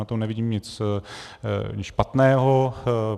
Na tom nevidím nic špatného.